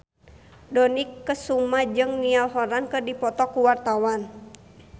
Dony Kesuma jeung Niall Horran keur dipoto ku wartawan